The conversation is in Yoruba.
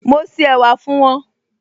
Mo se ẹ̀wà fún wọn